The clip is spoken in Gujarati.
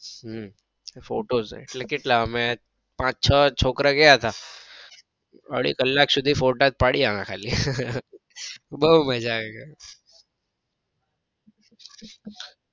હમ ફોટોસ કેટલા અમે પાંચ છ છોકરા ગયા હતા અઢી કલાક સુધી ફોટો જ પડ્યા અમે ખાલી બઉ મજા આવી ગઈ.